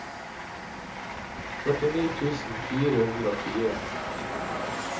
førtini tusen fire hundre og fire